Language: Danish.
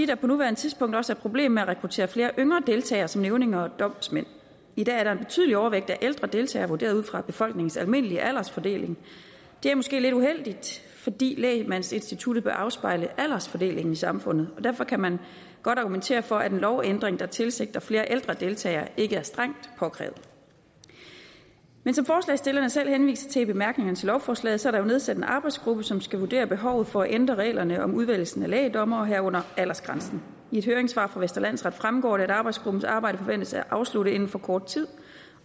der på nuværende tidspunkt også er et problem med at rekruttere yngre deltage som nævninge og domsmænd i dag er der en betydelig overvægt af ældre deltagere vurderet ud fra befolkningens almindelige aldersfordeling det er måske lidt uheldigt fordi lægmandsinstituttet bør afspejle aldersfordelingen i samfundet og derfor kan man godt argumentere for at en lovændring der tilsigter flere ældre deltagere ikke er strengt påkrævet men som forslagsstillerne selv henviser til i bemærkningerne til lovforslaget er der jo nedsat en arbejdsgruppe som skal vurdere behovet for at ændre reglerne om udvælgelsen af lægdommere herunder aldersgrænsen i et høringssvar fra venstre landsret fremgår det at arbejdsgruppens arbejde forventes at være afsluttet inden for kort tid